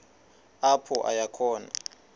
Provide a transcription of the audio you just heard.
apho aya khona